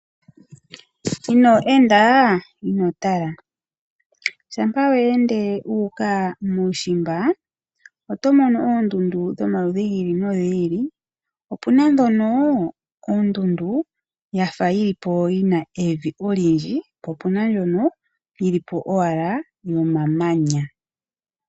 Ino enda, ino tala. Shampa wa ende wuuka muushimba oto mono oondundu dhomaludhi gi ili nogi ili. Ope na dhono oondundu ya fa yi li po yi na evi olyindji po opena ndjono yi li po owala yomamanya.